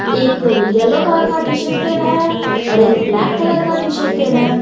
एक yellow colour का T shirt पहना है और एक ब्लैक कलर का टी शर्ट पहने।